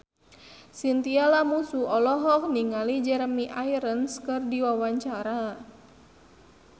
Chintya Lamusu olohok ningali Jeremy Irons keur diwawancara